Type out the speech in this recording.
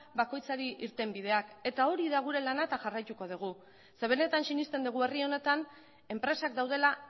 bakoitzari irtenbideak eta hori da gure lana eta jarraituko dugu zeren benetan sinesten dugu herri honetan enpresak daudela